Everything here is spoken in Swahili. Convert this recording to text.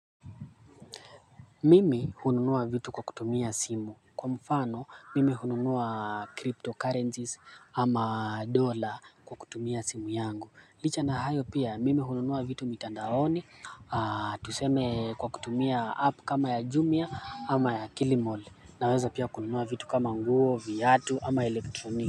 Mimi hununua vitu kwa kutumia simu. Kwa mfano mimi hununua cryptocurrencies ama dollar kwa kutumia simu yangu. Licha na hayo pia mimi hununua vitu mitandaoni. Tuseme kwa kutumia app kama ya jumia ama ya kilimall. Naweza pia kununua vitu kama nguo, viatu ama elektroni.